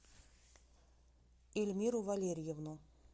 ильмиру валерьевну